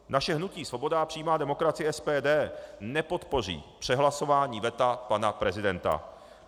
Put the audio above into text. Naše hnutí Svoboda a přímá demokracie, SPD, nepodpoří přehlasování veta pana prezidenta.